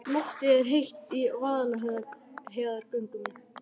Loftið er heitt í Vaðlaheiðargöngum.